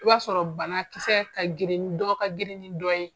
O y'a sɔrɔ banakisɛ ka girin dɔ ka girin ni dɔ ye.